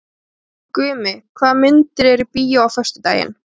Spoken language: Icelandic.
Gumi, hvaða myndir eru í bíó á föstudaginn?